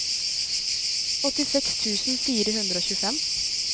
åttiseks tusen fire hundre og tjuefem